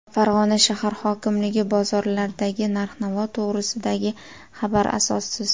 Farg‘ona shahar hokimligi: bozorlardagi narx-navo to‘g‘risidagi xabar asossiz.